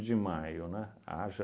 de maio, né, haja